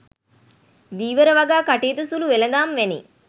ධීවර වගා කටයුතු සුලු වෙළඳාම් වැනි